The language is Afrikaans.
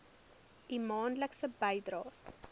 u maandelikse bydraes